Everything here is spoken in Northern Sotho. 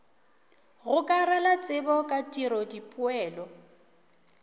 gokarela tsebo ka tiro dipoelo